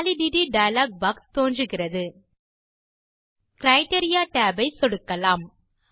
validity dialog box தோன்றுகிறது criteria tab ஐ சொடுக்கலாம்